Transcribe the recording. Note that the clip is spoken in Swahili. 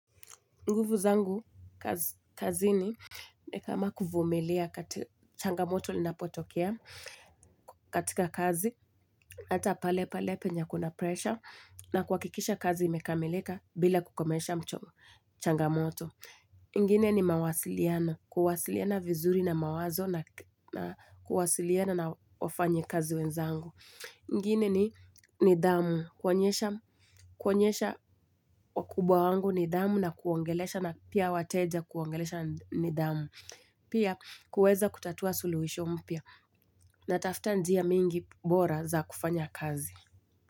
Nguvu zangu, kazini, ni kama kuvumilia kati changamoto linapotokea katika kazi, ata pale pale penya kuna pressure, na kuhakikisha kazi imekamiika bila kukomesha mchomu changamoto. Nguvu ni mawasiliano, kuwasiliana vizuri na mawazo, na kuwasiliana na wafanyikazi wenzangu. Ingine ni nidhamu, kuonyesha wakubwa wangu nidhamu na kuongelesha na pia wateja kuongelesha nidhamu. Pia kuweza kutatua sulihisho mpya natafuta njia mingi bora za kufanya kazi.